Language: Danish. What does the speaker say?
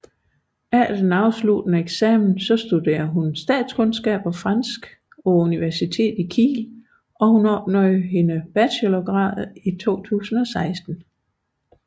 Efter sin afsluttende eksamen studerede hun statskundskab og fransk på universitetet i Kiel og opnåede sin bachelorgrad i 2016